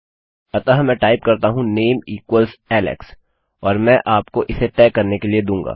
अतः मैं टाइप करता हूँ नामे नेम इक्वल्स एलेक्स और मैं तुम्हें उसे तय करने के लिए दूँगा